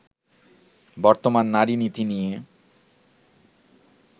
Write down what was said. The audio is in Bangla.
বর্তমান নারী-নীতি নিয়ে